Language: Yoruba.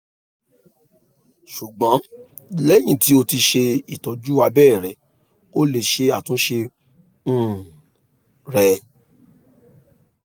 ṣugbọn lẹhin ti o ti ṣe itọju abẹrẹ o le ṣe atunṣe um rẹ